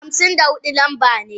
Hamsin da hudu lamba ne.